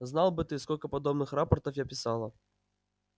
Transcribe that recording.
знал бы ты сколько подобных рапортов я писала